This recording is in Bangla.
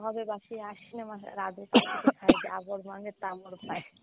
হবে বাসি পাই।